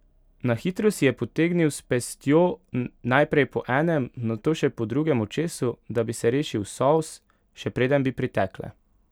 Na hitro si je potegnil s pestjo najprej po enem, nato še po drugem očesu, da bi se rešil solz, še preden bi pritekle.